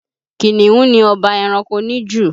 Kìnnìún ni ọba ẹranko níjù